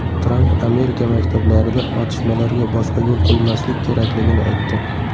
Tramp Amerika maktablarida otishmalarga boshqa yo‘l qo‘ymaslik kerakligini aytdi.